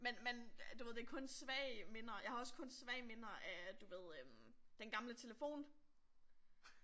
Men men du ved det er kun svage minder jeg har også kun svage minder af du ved øh den gamle telefon